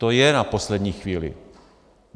To je na poslední chvíli.